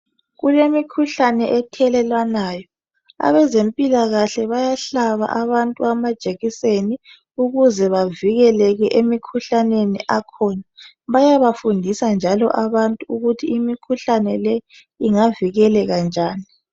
Kulemikhuhlane ethelelwana abezempikahle bayahlaba abantu amajekiseni ukuze bavikeleke emkhuhlaneni ekhona bayafundisa njalo abantu ukuthi imkhuhlane le ingavikeleka njani.